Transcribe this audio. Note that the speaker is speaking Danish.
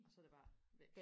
og så er det bare væk